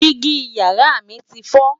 Digi yàrá mí ti foo